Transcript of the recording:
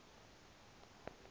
asuse ityala lam